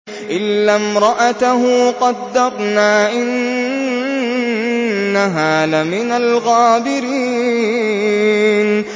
إِلَّا امْرَأَتَهُ قَدَّرْنَا ۙ إِنَّهَا لَمِنَ الْغَابِرِينَ